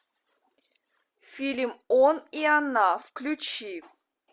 фильм он и она включи